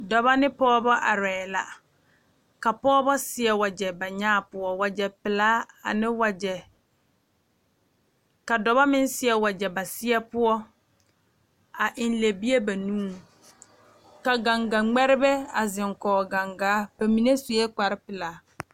Dɔbɔ ne pɔɔbɔ arɛɛ la ka pɔɔbɔ seɛ wagyɛ ba nyaa poɔ wagyɛ pelaa ane wagyɛ ka dɔbɔ meŋ seɛ wagyɛ ba seɛ poɔ a eŋ lɛbie nuuriŋ ka gaŋga ngmɛribɛ are kɔge gaŋgaa mine suee kparepelaa.